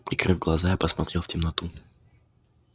прикрыв глаза я посмотрел в темноту